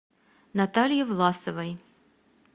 наталье власовой